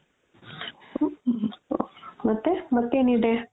ಮತ್ತೆ ಮತ್ತೆನಿದೆ?